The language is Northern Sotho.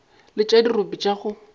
le tša dirope tša go